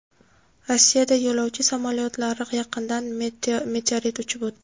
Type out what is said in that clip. Rossiyada yo‘lovchi samolyotlari yaqinidan meteorit uchib o‘tdi.